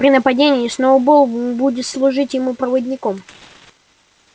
при нападении сноуболл будет служить ему проводником